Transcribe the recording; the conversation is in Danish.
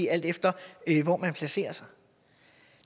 alt efter hvor man placerer sig